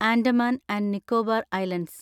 Andaman and Nicobar islands